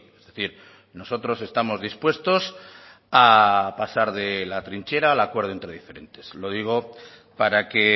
es decir nosotros estamos dispuestos a pasar de la trinchera al acuerdo entre diferentes lo digo para que